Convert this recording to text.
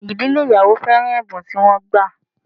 Idile ìyàwó féràn ẹ̀bùn tí wọ́n gbà